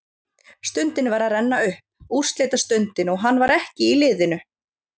Stundin var að renna upp, úrslitastundin, og hann var ekki í liðinu!